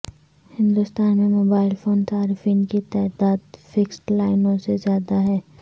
ہندوستان میں mobile phone صارفین کی تعداد فکسڈ لائنوں سے زیادہ ہے